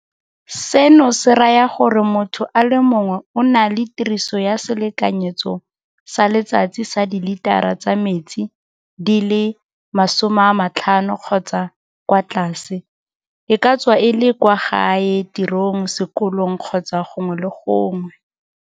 Seno se raya gore motho a le mongwe o na le tiriso ya selekanyetso sa letsatsi sa dilitara tsa metsi di le 50 kgotsa kwa tlase, e ka tswa e le kwa gae, tirong, sekolong kgotsa gongwe le gongwe.